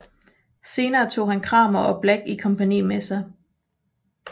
Senere tog han Cramer og Black i kompagni med sig